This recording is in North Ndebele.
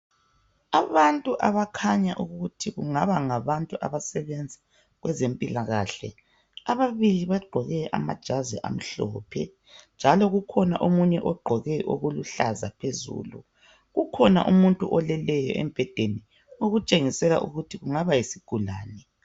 Abantu abakhanya ukuthi kungaba ngabantu abasebenza kwezempilakahle, ababili bagqoke amajazi amhlophe njalo kukhona omunye ogqoke okuluhlaza phezulu . Kukhona umuntu oleleyo embhedeni okutshengisela ukuthi kungaba yisigulane.